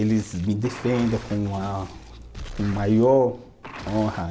Eles me defendem com a, com maior honra.